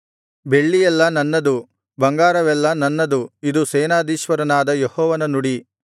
ಬೆಳ್ಳಿಯೆಲ್ಲಾ ನನ್ನದು ಬಂಗಾರವೆಲ್ಲಾ ನನ್ನದು ಇದು ಸೇನಾಧೀಶ್ವರನಾದ ಯೆಹೋವನ ನುಡಿ